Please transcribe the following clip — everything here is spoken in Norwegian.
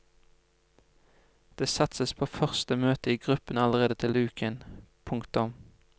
Det satses på første møte i gruppen allerede til uken. punktum